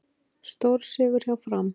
Stórsigur hjá Fram